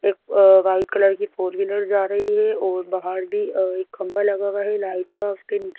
एक white colour की four wheeler जा रही है और बाहर भी और अ एक खंभा लगा हुआ है लाइट का उसके नीचे--